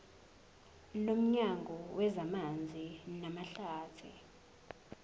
nomnyango wezamanzi namahlathi